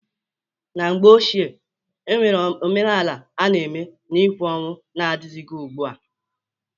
Na mgbe ochie, onwere omenanị a na-eme na-ịkwa ọnwụ na-adịghịzị ugbua.